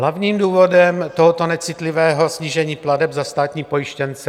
Hlavním důvodem tohoto necitlivého snížení plateb za státní pojištěnce -